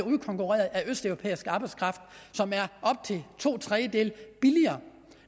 udkonkurreret af østeuropæisk arbejdskraft som er op til to tredjedele billigere